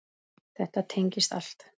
Þetta tengist allt.